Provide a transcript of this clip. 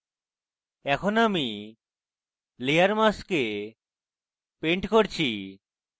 এখন আমি layer mask paint করছি